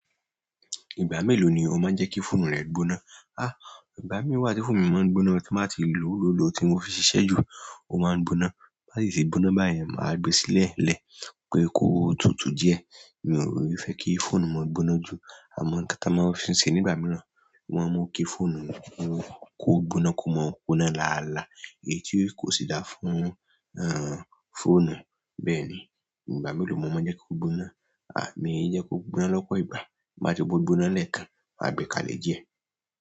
Ìgbà mélòó ni o máa ń jẹ́ kí fóònù rẹ gbóná? Ìgbà míì wá tí fóònù mi máa ń gbóná tí n bá ti lòó lòó lòó ti mo fi ṣiṣẹ́ jú, ó máa ń gbóná. Bá ti ṣe gbóná báyìí, màá gbe sílẹ̀ lẹ̀ pé kó tutù díẹ̀. Mi ò fẹ́ kí fóònù máa gbóná jù. Àwọn nǹkan tí a máa ń fi ṣe nígbà mìíràn, wọ́n mú kí fóònù kú gbóná, kó máa ń gbóná láàlá èyí tí kò sì dáa fún fóònù. Bẹ́ẹ̀ni. Ìgbà mélòó mo máa ń jẹ́ kó gbóná? Miì ń jẹ́ kó gbóná lọ́pọ̀ ìgbà. Bí bá ti gbó gbóná lẹ́ẹ̀kan, màá gbé kalẹ̀ díẹ̀.